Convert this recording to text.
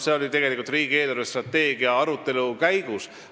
Sellest rääkisime riigi eelarvestrateegia arutelu käigus.